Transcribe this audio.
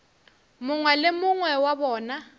mongwe le mongwe wa bona